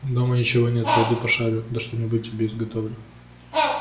дома ничего нет пойду пошарю да что-нибудь тебе изготовлю